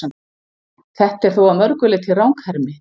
Þetta er þó að mörgu leyti ranghermi.